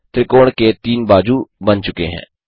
त्रिकोण के 3 बाजू बन चुके हैं